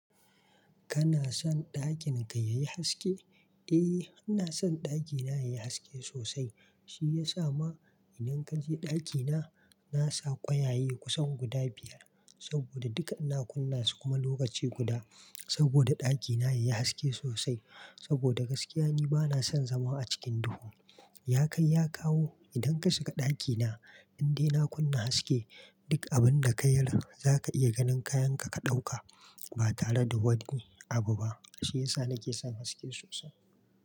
Kana son ɗakin ka yayi haske? Eh, ina son ɗakina yayi haske sosai. Shi ya sa ma idan kaje ɗakina, na sa kwayaye kusan guda biyar saboda duk ina kunna su kuma lokaci guda saboda ɗakina yayi haske sosai. Saboda gaskiya ni bana son zama a cikin duhu. Ya kai ya kawo, idan ka shiga ɗakina, indai na kunna haske, duk abun da ka yar za ka iya ganin kayan ka ka ɗauka ba tare da wani abu ba. Shi yasa nike son haske sosai.